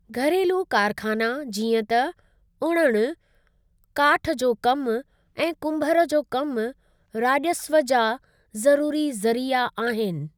घरेलू कारख़ाना जीअं त उणणु, काठु जो कम ऐं कुंभर जो कमु राज॒स्व जा ज़रुरी ज़रिया आहिनि।